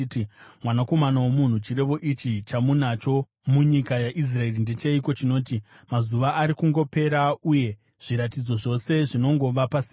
“Mwanakomana womunhu, chirevo ichi chamunacho munyika yaIsraeri ndecheiko chinoti, ‘Mazuva ari kungopera uye zviratidzo zvose zvinongova pasina?’